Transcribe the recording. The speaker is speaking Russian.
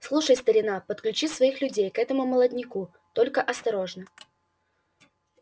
слушай старина подключи своих людей к этому молодняку только осторожно